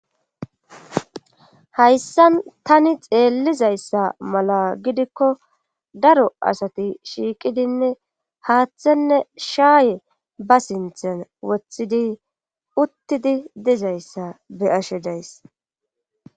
Hayssan tani xeellizayssa mala gidikko daro asati shiiqidinne haaththenne shaaye ba sinthan woththidi uttidi dizayssa be ashe days.